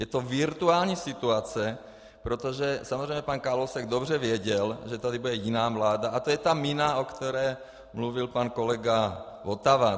Je to virtuální situace, protože samozřejmě pan Kalousek dobře věděl, že tady bude jiná vláda, a to je ta mina, o které mluvil pan kolega Votava.